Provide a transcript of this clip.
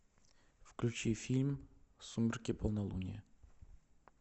включи фильм сумерки полнолуние